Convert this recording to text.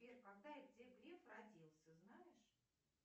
сбер когда и где греф родился знаешь